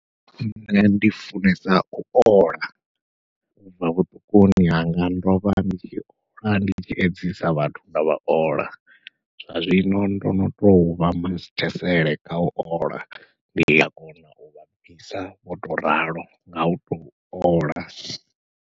Nṋe ndi funesa u ola ubva vhuṱukuni hanga ndovha ndi tshi ola ndovha ndi tshi edzisa vhathu nda vha ola zwa zwino ndo no tou vha masithesele kha u ola, ndi a kona uvha bvisa vho tou ralo ngau tou ola.